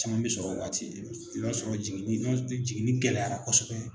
Caman bɛ sɔrɔ waati i b'a sɔrɔ jiginni gɛlɛyara kosɛbɛ